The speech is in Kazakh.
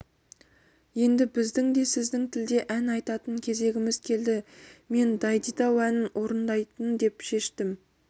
енді біздің де сіздің тілде ән айтатын кезегіміз келді мен дайдидау әнін орындайын деп шештім